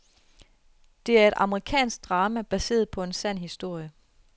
Det er et amerikansk drama, baseret på en sand historie.